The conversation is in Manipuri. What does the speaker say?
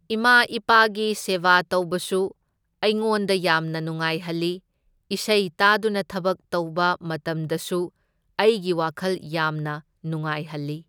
ꯏꯃꯥ ꯏꯄꯥꯒꯤ ꯁꯦꯕꯥ ꯇꯧꯕꯁꯨ ꯑꯩꯉꯣꯟꯗ ꯌꯥꯝꯅ ꯅꯨꯡꯉꯥꯏꯍꯜꯂꯤ, ꯏꯁꯩ ꯇꯥꯗꯨꯅ ꯊꯕꯛ ꯇꯧꯕ ꯃꯇꯝꯗꯁꯨ ꯑꯩꯒꯤ ꯋꯥꯈꯜ ꯌꯥꯝꯅ ꯅꯨꯡꯉꯥꯏꯍꯜꯂꯤ꯫